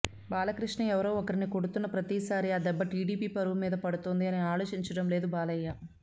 బాలకృష్ణ ఎవరో ఒకరిని కొడుతున్న ప్రతీసారి ఆ దెబ్బ టిడీపి పరువుమీద పడుతోంది అని ఆలోచించడం లేదు బాలయ్య